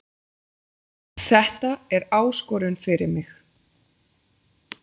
Þetta er áskorun fyrir mig